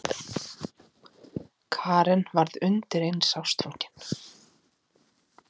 Karen varð undireins ástfangin.